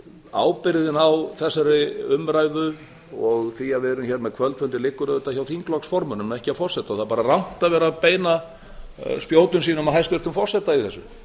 ábyrgðin á þessari umræðu og því að við erum hér með kvöldfundi liggur hjá þingflokksformönnum ekki forseta það er bara rangt að vera að beina spjótum sínum að hæstvirtum forseta í þessu